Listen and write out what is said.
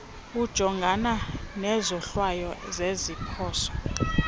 ujongana nezohlwayo zeziphoso